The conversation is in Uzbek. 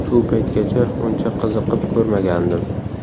Shu paytgacha uncha qiziqib ko‘rmagandim.